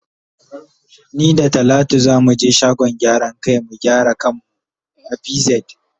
Ni da talatu za mu ge shagon gyaran kai mu gyara kan mu a pz.